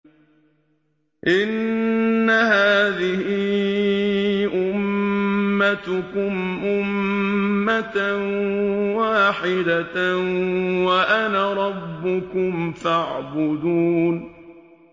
إِنَّ هَٰذِهِ أُمَّتُكُمْ أُمَّةً وَاحِدَةً وَأَنَا رَبُّكُمْ فَاعْبُدُونِ